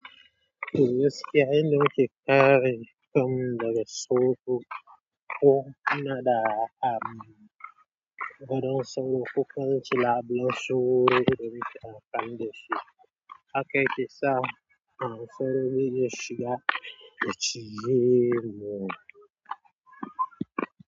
Ko inna sa dauro, ko ina da, ko kuma ince labulen sawro da zakin dinga amfani dashi, hakan zai sa, sauro zai zo ya shi ga ya cije ki.